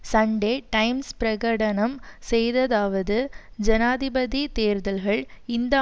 Sunday Times பிரகடனம் செய்ததாவது ஜனாதிபதி தேர்தல்கள் இந்த